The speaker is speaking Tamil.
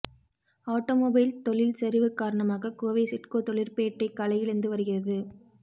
ஆட்டோமொபைல் தொழில் சரிவு காரணமாக கோவை சிட்கோ தொழிற்பேட்டை களையிழந்து வருகிறது